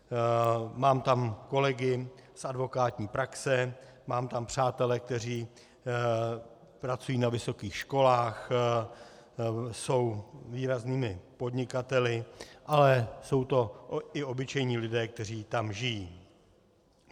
Mám tam kolegy z advokátní praxe, mám tam přátele, kteří pracují na vysokých školách, jsou výraznými podnikateli, ale jsou to i obyčejní lidé, kteří tam žijí.